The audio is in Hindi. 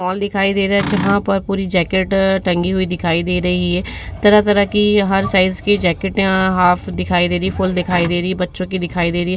फोन दिखाई दे रहा है। जहाँ पर पूरी जैकेट टंगी हुई दी रही है तरह-तरह की हर साइज जैकेट आ हाफ दिखाई दे रही है फूल दिखाई दे रही है बच्चों को दिखाई दे रही।